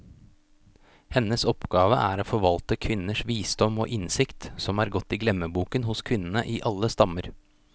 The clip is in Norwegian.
Hennes oppgave er å forvalte kvinners visdom og innsikt, som er gått i glemmeboken hos kvinnene i alle stammer.